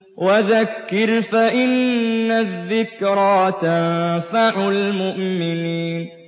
وَذَكِّرْ فَإِنَّ الذِّكْرَىٰ تَنفَعُ الْمُؤْمِنِينَ